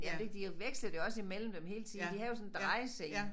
Men ikke de vekslede også imellem dem hele tiden de havde jo sådan en drejescene